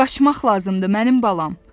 Qaçmaq lazımdır, mənim balam.